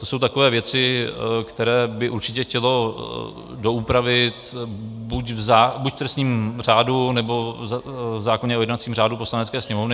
To jsou takové věci, které by určitě chtělo doupravit buď v trestním řádu, nebo v zákoně o jednacím řádu Poslanecké sněmovny.